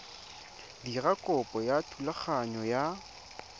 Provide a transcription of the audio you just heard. dira kopo ya thulaganyo ya